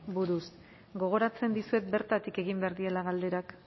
buruz gogoratzen dizuet bertatik egin behar direla galderak